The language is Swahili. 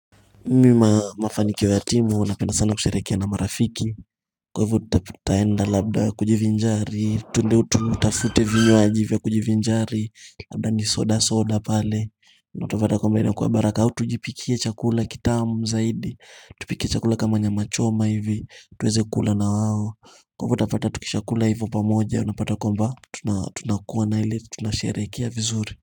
Mimu mafaniko ya timu napenda sana kusherehekea na marafiki Kwa hivyo tutaenda labda kujivinjari twende tutafute vinywaji vya kujivinjari Labda ni soda soda pale utapata kwamba inakua baraka au tujipikie chakula kitamu zaidi Tupike chakula kama nyama choma hivi tuweze kula na wao Kwa hivyo utapata tukishakula hivyo pamoja unapata kwamba Tunakuwa na ile tunasherehekea vizuri.